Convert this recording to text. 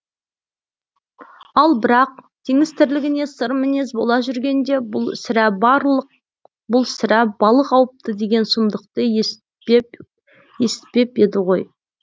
ал бірақ теңіз тірлігіне сыр мінез бола жүргенде бұл сірә балық ауыпты деген сұмдықты есітпеп еді ғой